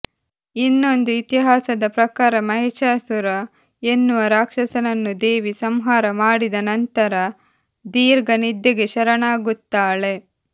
ಇನ್ನೊಂದು ಇತಿಹಾಸದ ಪ್ರಕಾರ ಮಹಿಷಾಸುರ ಎನ್ನುವ ರಾಕ್ಷಸನನ್ನು ದೇವಿ ಸಂಹಾರ ಮಾಡಿದ ನಂತರ ದೀರ್ಘ ನಿದ್ದೆಗೆ ಶರಣಾಗುತ್ತಾಳೆ